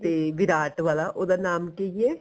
ਤੇ ਵਿਰਾਟ ਵਾਲਾ ਉਹਦਾ ਨਾਮ ਕੀ ਏ